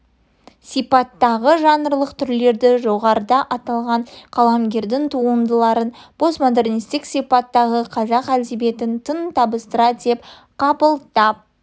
сипаттағы жанрлық түрлерді жоғарыда аталған қаламгердің туындарыларын постомодернистік сипаттағы қазақ әдебиетінің тың табыстары деп қабылдап